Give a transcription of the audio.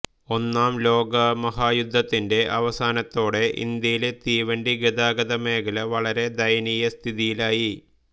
ഒന്നാം ലോകമഹായുദ്ധത്തിന്റെ അവസാനത്തോടെ ഇന്ത്യയിലെ തീവണ്ടിഗതാഗത മേഖല വളരെ ദയനീയസ്ഥിതിയിലായി